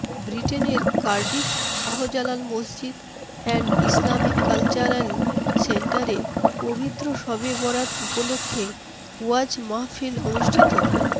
বৃটেনের Cardiff Shahjalal মসজিদ and Islamic cultural সেন্টারে পবিত্র শবে বরাত উপলক্ষ্যে ওয়াজ মাহফিল অনুষ্ঠিত